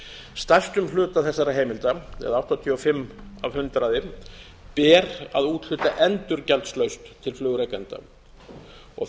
stærstum hluta þessara heimilda eða áttatíu og fimm af hundraði ber að úthluta endurgjaldslaust til flugrekenda